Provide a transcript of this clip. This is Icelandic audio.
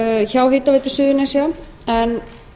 hjá hitaveitu suðurnesja en